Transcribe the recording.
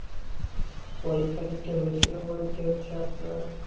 পরীক্ষা দিতে হয়েছিল বলতে হচ্ছে আপনার